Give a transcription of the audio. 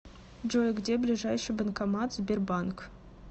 джой где ближайший банкомат сбербанк